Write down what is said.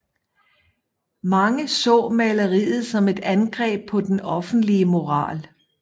Mange så maleriet som et angreb på den offentlige moral